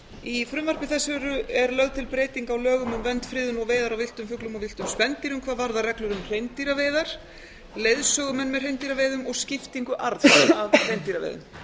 í frumvarpi þessu eru lögð til breyting á lögum um vernd friðun og veiðar á villtum fuglum og villtum spendýrum hvað varðar reglur um hreindýraveiðar leiðsögumenn með hreindýraveiðum og skiptingu arðs af hreindýraveiðum